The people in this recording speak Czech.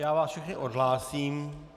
Já vás všechny odhlásím.